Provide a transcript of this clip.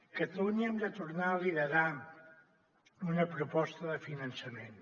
catalunya hem de tornar a liderar una proposta de finançament